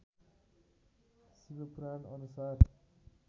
शिव पुराण अनुसार